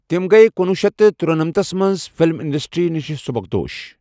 کِم گیہ کُنوُہ شیٚتھ تہٕ ترُنمنتس منٛز فِلم انڈسٹرِی نِشہِ سٗبكدوش ۔